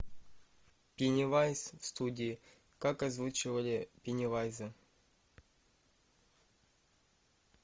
пеннивайз в студии как озвучивали пеннивайза